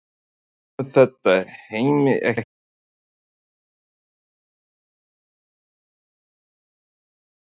Kemur þetta Heimi ekki á óvart miðað við markaskorun Kolbeins fyrir Ísland?